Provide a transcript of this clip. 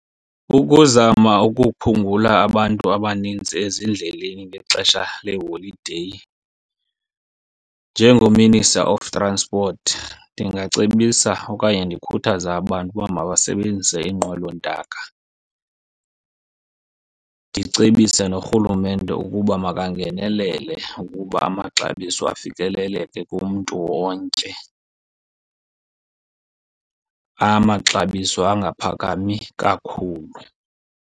Ukuzama ukuphungula abantu abanintsi ezindleleni ngexesha leholideyi njengo-Minister of Transport ndingacebisa okanye ndikhuthaze abantu uba mabasebenzise iinqwelontaka. Ndicebise norhulumente ukuba makangenelele ukuba amaxabiso afikeleleke kumntu wonke. Amaxabiso angaphakami kakhulu.